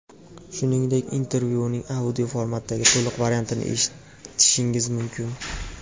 Shuningdek, intervyuning audio formatdagi to‘liq variantini eshitishingiz mumkin.